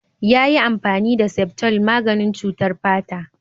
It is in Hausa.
Yayi amfani da septol maganin cutar fata.